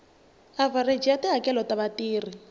avhareji ya tihakelo ta vatirhi